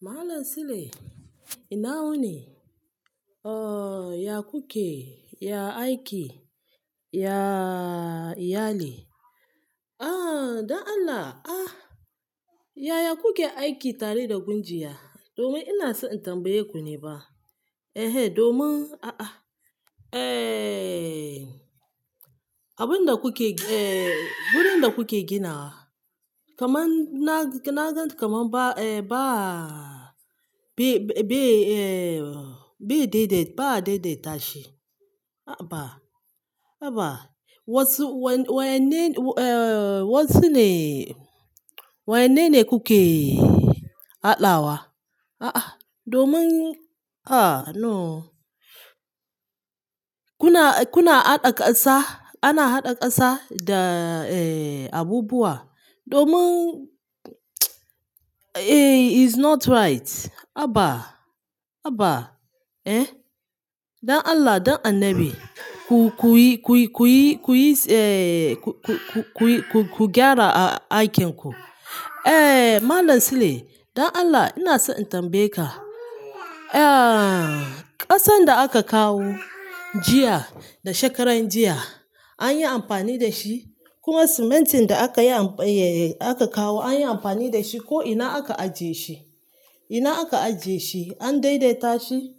Malam Sule ina wuni? Ohhh ya kuke, ya aiki, ya iyali. Ah don Allah, ah yaya kuke aiki tare da gunjiya? Domin ina so in tambaye ku ne ba. Ehe domin a a, ehhh abun da kuke, eh wurin da kuke ginawa kaman na, na gan kamar ba eh ba be-be-be eh be daidai, ba a daidaita shi. A a ba, a ba. Wasu wa-wayanne eh wasu ne, wayanne ne kuke hadawa? A a domin a no kuna, kuna haɗa ƙasa, ana haɗa ƙasa da eh abubuwa domin eh is not right. A ba, a ba, eh don Allah, don annabi ku-kuyi-kuyi-kuyi eh ku-ku-ku-kuyi ku-ku gyara aikin ku. Eh Malam Sule don Allah ina so in tambaye ka, ah ƙasan da aka kawo jiya da shekaran jiya an yi amfani da shi? Kuma simintin da aka yi am, eh aka kawo an yi amfani da shi ko ina aka ajiye shi? Ina aka ajiye shi? An daidaita shi?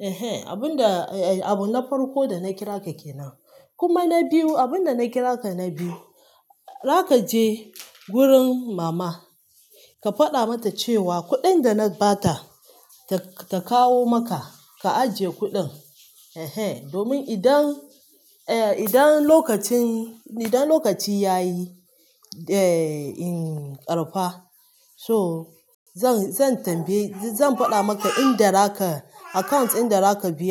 Ehe abun da eh abu na farko da na kira ka ke nan. Kuma na biyu abun da na kira ka na biyu, za ka je wurin mama ka faɗa mata cewa kuɗin da na ba ta ta-ta kawo maka ka ajiye kuɗin. Ehe domin idan, eh idan lokacin, idan lokaci ya yi eh ƙarfa so zan, zan tambaye, zan faɗa maka in da raka account in da raka biya.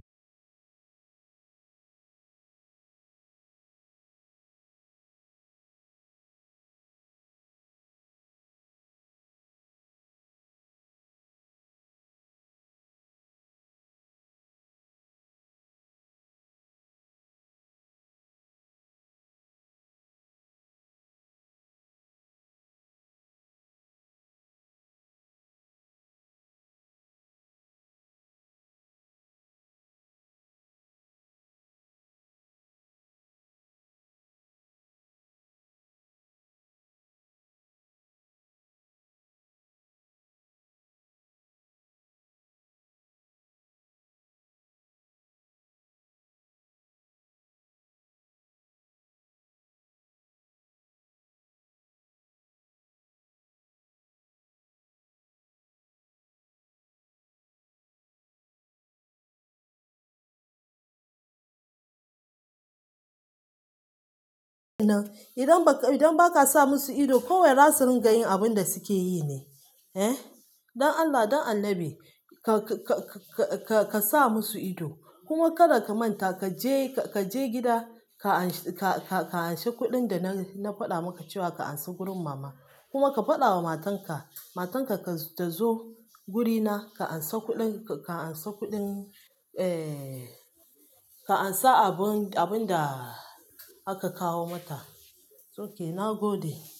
Idan ba ka, idan ba ka sa musu ido kawai za su rinƙa yin abun da suke yi ne. Eh don Allah, don annabi ka-ka-ka-ka-ka sa musu ido. Kuma kada ka manta ka je, ka je gida ka anshi, ka-ka-ka anshi kuɗin da na-na faɗa maka cewa ka anso gurin mama. Kuma ka faɗa wa matan ka, matan ka-ka tazo wurina ka ansa kuɗin, ka ansa kuɗin eh ka ansa abun, abun da aka kawo mata. Okay na gode.